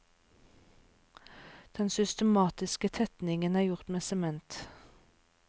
Den systematiske tettingen er gjort med sement.